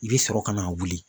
I bɛ sɔrɔ ka na wuli.